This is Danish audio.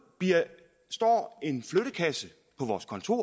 står en flyttekasse på vores kontorer